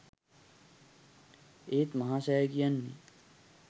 ඒත් මහා සෑය කියන්නේ